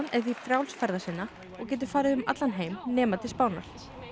er því frjáls ferða sinna og getur farið um allan heim nema til Spánar